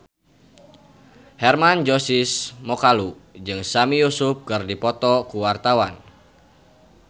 Hermann Josis Mokalu jeung Sami Yusuf keur dipoto ku wartawan